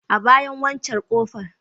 A bayan waccen ƙofar.